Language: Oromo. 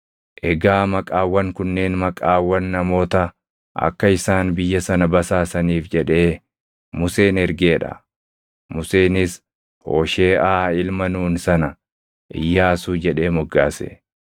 Egaa maqaawwan kunneen maqaawwan namoota akka isaan biyya sana basaasaniif jedhee Museen ergee dha. Museenis Hoosheeʼaa ilma Nuuni sana, “Iyyaasuu” jedhee moggaase.